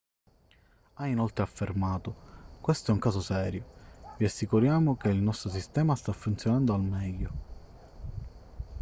ha inoltre affermato questo è un caso serio vi assicuriamo che il nostro sistema sta funzionando al meglio